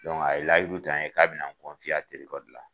Dɔnke a ye layiru ta n ye k'a bina n kɔrɔcɛ ya telefɔni gilan